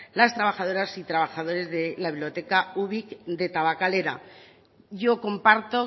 las trabajadoras y trabajadores de la biblioteca ubik de tabakalera yo comparto